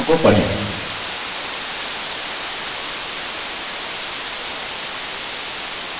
खेल खेलने के लिए निर्देशों को पढ़ें